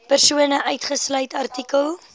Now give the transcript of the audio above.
persone uitgesluit artikel